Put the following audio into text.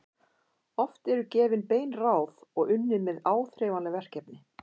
Oft eru gefin bein ráð og unnið með áþreifanleg verkefni.